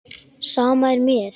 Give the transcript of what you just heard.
Sama er mér.